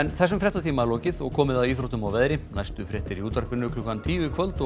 þessum fréttatíma er lokið og komið að íþróttum og veðri næstu fréttir eru í útvarpi klukkan tíu í kvöld og